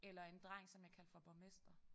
Eller en dreng som jeg kaldte for Borgmester